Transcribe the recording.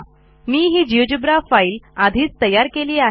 मी ही GeoGebra file आधीच तयारी केली आहे